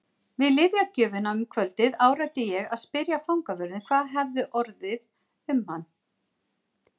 Við lyfjagjöfina um kvöldið áræddi ég að spyrja fangavörðinn hvað orðið hefði um hann.